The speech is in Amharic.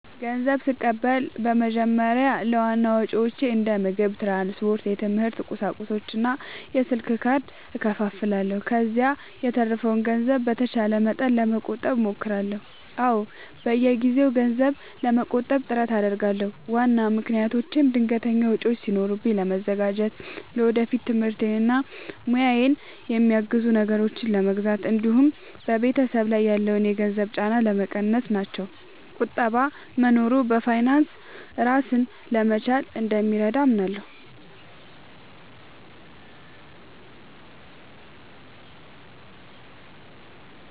ንዘብ ስቀበል በመጀመሪያ ለዋና ወጪዎቼ እንደ ምግብ፣ ትራንስፖርት፣ የትምህርት ቁሳቁሶች እና የስልክ ካርድ እከፋፍለዋለሁ። ከዚያ የተረፈውን ገንዘብ በተቻለ መጠን ለመቆጠብ እሞክራለሁ። አዎ፣ በየጊዜው ገንዘብ ለመቆጠብ ጥረት አደርጋለሁ። ዋና ምክንያቶቼም ድንገተኛ ወጪዎች ሲኖሩ ለመዘጋጀት፣ ለወደፊት ትምህርቴን እና ሙያዬን የሚያግዙ ነገሮችን ለመግዛት እንዲሁም በቤተሰብ ላይ ያለውን የገንዘብ ጫና ለመቀነስ ናቸው። ቁጠባ መኖሩ በፋይናንስ ራስን ለመቻል እንደሚረዳ አምናለሁ።